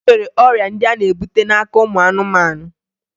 E nwere ọrịa ndị a na-ebute n'aka ụmụ anụmanụ